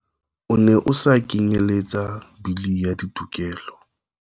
O ne o sa kenyeletsa Bili ya Ditokelo.